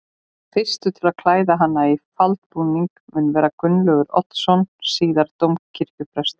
Fyrstur til að klæða hana í faldbúning mun vera Gunnlaugur Oddsson síðar dómkirkjuprestur.